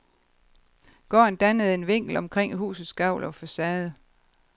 Gården dannede en vinkel omkring husets gavl og facade.